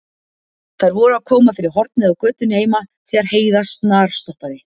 Þær voru að koma fyrir hornið á götunni heima þegar Heiða snarstoppaði.